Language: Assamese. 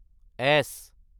এছ